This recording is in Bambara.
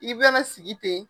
I bina na sigi ten.